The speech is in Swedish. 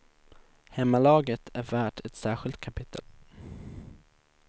Hemmalaget är värt ett särskilt kapitel.